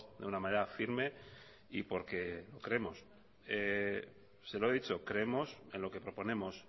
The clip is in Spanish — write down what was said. de una manera firme y porque creemos se lo he dicho creemos en lo que proponemos